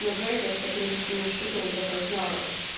но жарит вот какими-то своими штуками для партнёров